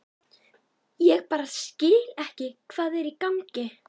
Ég bara skil ekki hvað er í gangi.